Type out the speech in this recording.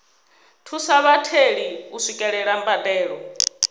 thusa vhatheli u swikelela mbadelo